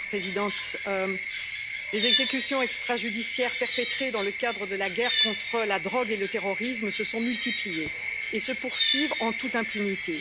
Madame la Présidente, les exécutions extrajudiciaires perpétrées dans le cadre de la guerre contre la drogue et le terrorisme se sont multipliées et se poursuivent en toute impunité.